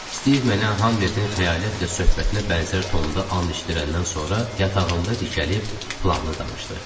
Stiv mənə Hamletin xəyalətlə söhbətinə bənzər tonda an içdirəndən sonra yatağında dikəlib planını danışdı.